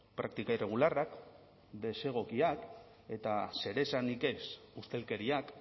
praktika irregularrak desegokiak eta zeresanik ez ustelkeriak